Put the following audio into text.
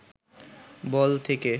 বল থেকে